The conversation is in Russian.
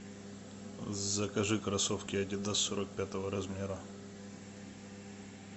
закажи кроссовки адидас сорок пятого размера